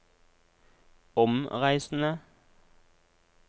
omreisende